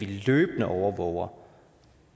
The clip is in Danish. vi løbende overvåger